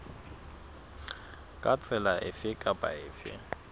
ka tsela efe kapa efe